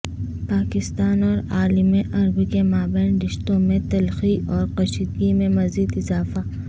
پاکستان اور عالم عرب کے مابین رشتوں میں تلخی اور کشیدگی میں مزید اضافہ